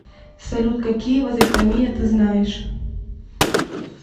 салют какие вазэктомия ты знаешь